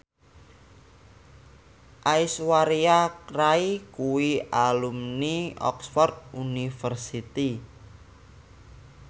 Aishwarya Rai kuwi alumni Oxford university